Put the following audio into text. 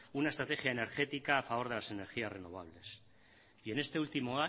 una estrategia energética a favor de las energías renovables y en este último